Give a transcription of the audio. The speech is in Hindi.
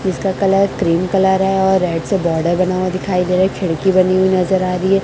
इसका कलर क्रीम कलर है और रेड से बॉर्डर बना हुआ दिखाई दे रहा है एक खिड़की बनी हुई नज़र आ रही है।